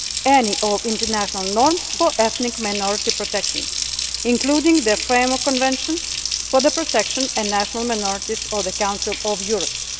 any of the international norms on ethnic minority protection, including the Framework Convention for the Protection of National Minorities of the Council of Europe.